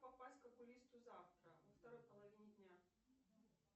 попасть к окулисту завтра во второй половине дня